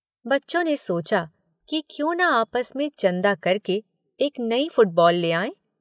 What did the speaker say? बच्चों ने सोचा कि क्यों न आपस में चंदा करके एक नई फुटबॉल ले आएं?